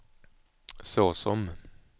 såsom